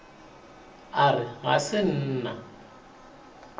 a re ga se nna